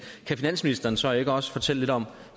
kan finansministeren så ikke også fortælle lidt om